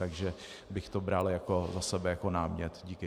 Takže bych to bral za sebe jako námět. Děkuji.